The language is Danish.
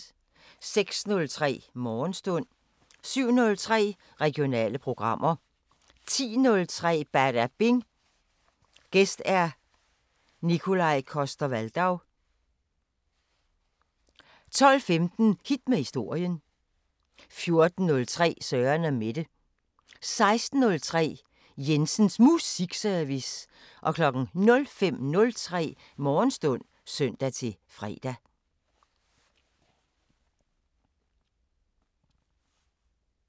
06:03: Morgenstund 07:03: Regionale programmer 10:03: Badabing: Gæst Nikolaj Coster-Waldau 12:15: Hit med historien 14:03: Søren & Mette 16:03: Jensens Musikservice 05:03: Morgenstund (søn-fre)